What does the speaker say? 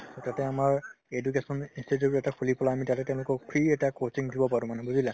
তাতে আমাৰ education institute এটা খুলি পেলাই আমি তাতে তেওঁলোকক free এটা coaching দিব পাৰো মানে বুজিলা